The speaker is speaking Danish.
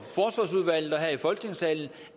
her i folketingssalen